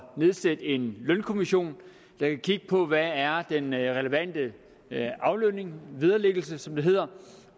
nedsætte en lønkommission der kan kigge på hvad der er den relevante aflønning vederlæggelse som det hedder